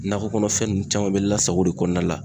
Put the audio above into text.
Nakɔ kɔnɔfɛn ninnu caman bɛ lasago de kɔnɔna la.